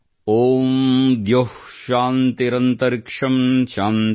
ಓಂ ದ್ಯೌಃಶಾಂತಿರಂತರಿಕ್ಷಂಶಾಂತಿಃ